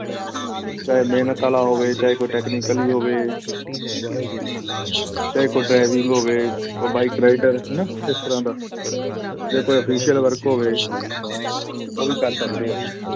ਚਾਹੇ ਮਿਹਨਤ ਵਾਲਾ ਹੋਵੇ ਚਾਹੇ ਕੋਈ technically ਹੋਵੇ ਚਾਹੇ ਕੋਈ driving ਹੋਵੇ, ਕੋਈ bike rider ਹਨਾ ਇਸ ਤਰ੍ਹਾਂ ਦਾ, ਜਾਂਂ ਕੋਈ official work ਹੋਵੇ ਉਹ ਵੀ ਕਰ ਸਕਦੇ ਹਾਂ ਅਸੀਂ।